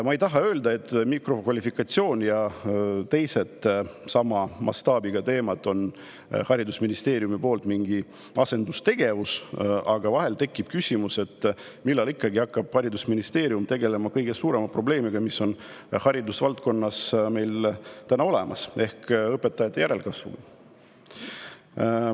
Ma ei taha öelda, et mikrokvalifikatsioon ja teised sama mastaabiga teemad on haridusministeeriumi poolt mingi asendustegevus, aga vahel tekib küsimus, millal hakkab haridusministeerium tegelema kõige suurema probleemiga, mis meil täna haridusvaldkonnas on, ehk õpetajate järelkasvuga.